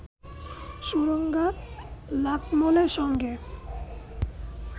সুরাঙ্গা লাকমলের সঙ্গে